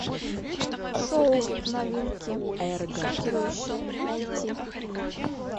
шоу новинки шокирующие найти